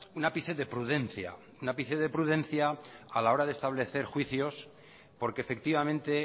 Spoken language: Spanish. un ápice de prudencia un ápice de prudencia a la hora de establecer juicios porque efectivamente